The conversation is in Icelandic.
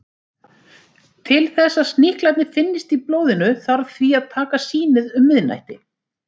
Til þess að sníklarnir finnist í blóðinu þarf því að taka sýnið um miðnætti.